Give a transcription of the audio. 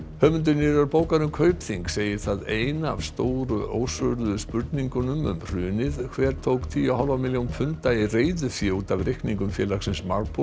höfundur nýrrar bókar um Kaupþing segir það eina af stóru ósvöruðu spurningunum um hrunið hver tók tíu og hálfa milljón punda í reiðufé út af reikningum félagsins